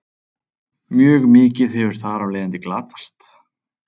Mjög mikið hefur þar af leiðandi glatast.